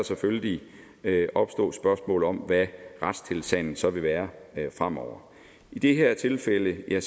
selvfølgelig kan opstå spørgsmål om hvad retstilstanden så vil være fremover i det her tilfælde er